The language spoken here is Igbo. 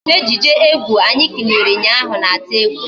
Ejije egwu anyị kiliri ụnyaahụ na-atụ egwu